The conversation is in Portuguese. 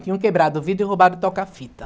Tinham quebrado o vidro e roubado o toca-fita.